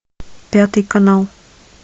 пятый канал